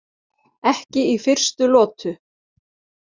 Ekki í fyrstu lotu!